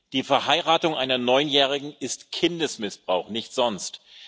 Die Verheiratung einer Neunjährigen ist Kindesmissbrauch, nichts sonst.